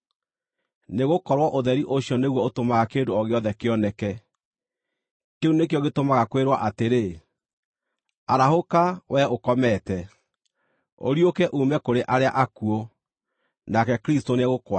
nĩgũkorwo ũtheri ũcio nĩguo ũtũmaga kĩndũ o gĩothe kĩoneke. Kĩu nĩkĩo gĩtũmaga kwĩrwo atĩrĩ: “Arahũka, wee ũkomete, ũriũke uume kũrĩ arĩa akuũ, nake Kristũ nĩegũkwarĩra.”